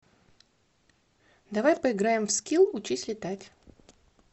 давай поиграем в скилл учись летать